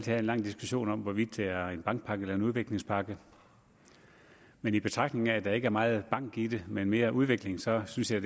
have en lang diskussion om hvorvidt det er en bankpakke er en udviklingspakke men i betragtning af at der ikke er meget bank i den men mere udvikling så synes jeg